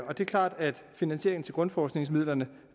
og det er klart at finansieringen af grundforskningsmidlerne